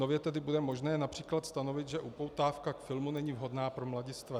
Nově tedy bude možné například stanovit, že upoutávka k filmu není vhodná pro mladistvé.